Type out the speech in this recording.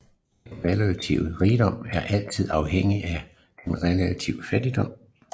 Den relative rigdom er altid afhængig af den relative fattigdom